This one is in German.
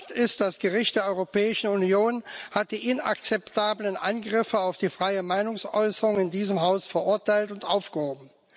Fakt ist, das Gericht der Europäischen Union hat die inakzeptablen Angriffe auf die freie Meinungsäußerung in diesem Haus verurteilt und aufgehoben.